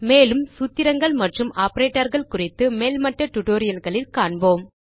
மேலும் சூத்திரங்கள் மற்றும் ஆப்பரேட்டர் கள் குறித்து மேல்மட்ட டியூட்டோரியல் களில் காண்போம்